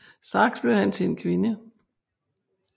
Straks blev han til en kvinde